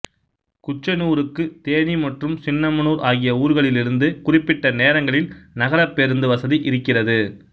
குச்சனூருக்கு தேனி மற்றும் சின்னமனூர் ஆகிய ஊர்களிலிருந்து குறிப்பிட்ட நேரங்களில் நகரப் பேருந்து வசதி இருக்கிறது